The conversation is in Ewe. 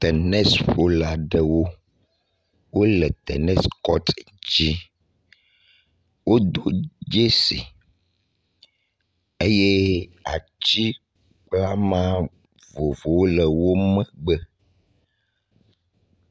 Tenisƒola aɖewo wo le tenis kɔti di. Wodo dzesɛ eye atsi kple ama vovovowo le wo megbe.